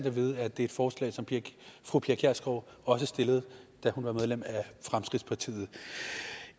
at vide at det er et forslag som fru pia kjærsgaard også stillede da hun var medlem af fremskridtspartiet